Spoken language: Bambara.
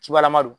Cibalama don